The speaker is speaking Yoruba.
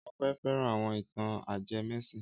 Ọpẹ́ fẹ́ran àwọn ìtàn ajẹmẹ́sìn.